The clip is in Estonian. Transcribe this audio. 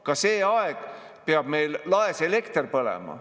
Ka see aeg peab meil laes lamp põlema.